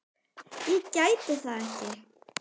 Ég gæti það ekki.